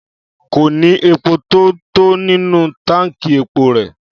Kò ní epo tó tó nínú táǹkì epo rẹ̀.